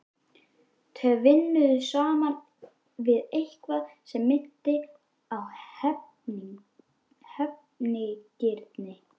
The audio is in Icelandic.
Tvinnuð saman við eitthvað sem minnti á hefnigirni.